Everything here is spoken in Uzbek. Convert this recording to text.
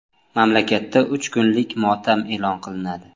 Mamlakatda uch kunlik motam e’lon qilinadi.